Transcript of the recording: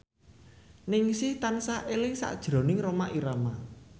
Ningsih tansah eling sakjroning Rhoma Irama